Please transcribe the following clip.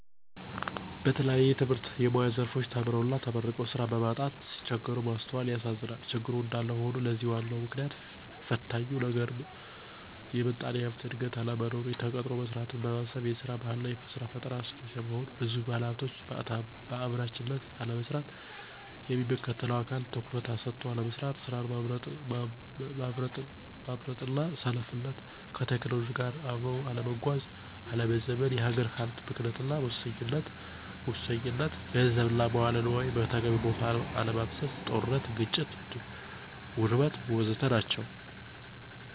በተለያየ የትምህርትና የሙያ ዘርፎች ተምረውና ተመርቀው ስራ በማጣት ሲቸገሩ ማስተዋላል ያሳዝናል። ችግሩ እንዳለ ሆኖ ለዚህ ዋናው ምክንያትና ፈታኙ ነገርም የምጣኔ ሀብት እድገት አለመኖር፣ ተቀጥሮ መስራትን ማሰብ፤ የስራ ባህል አና የስራ ፈጠራ አነስተኛ መሆን፤ ብዙ ባለሀብቶች በአምራችነት አለመሰማራት፤ የሚመለከተው አካል ትኩረት ሰጥቶ አለመስራት፤ ስራን ማምረጥና ሰነፍነት፣ ከቴክኖሎጂ ጋራ አብኖ አለመጓዝና አለመዘመን፤ የሀገር ሀብት ብክነትና ሙሰኝነት፣ ገንዘብን እና መዋለ ነዋይን በተገቢው ቦታ ለይ አለማፍሰስ፤ ጦርነት፥ ግጭትና ውድመት ወዘተ ናቸው።